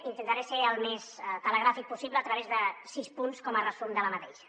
intentaré ser el més telegràfic possible a través de sis punts com a resum de la mateixa